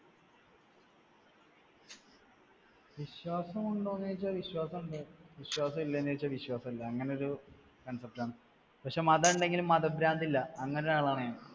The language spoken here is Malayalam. വിശ്വാസം ഉണ്ടോന്ന് ചോദിച്ചാൽ വിശ്വാസമുണ്ട്. വിശ്വാസമില്ലെ എന്ന് ചോദിച്ചാൽ വിശ്വാസമില്ല അങ്ങനെ ഒരു concept ആണ്. പക്ഷേ, മതം ഉണ്ടെങ്കിൽ മതഭ്രാന്ത് ഇല്ല, അങ്ങനെ ഒരാളാണ് ഞാൻ.